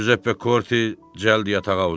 Cüzəppe Korte cəld yatağa uzandı.